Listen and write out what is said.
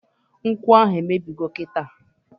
Nkwụ ahụ emebigo kịta!